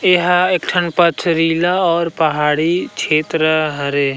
एह एक ठन पथरीला और पहाड़ी क्षेत्र हरे।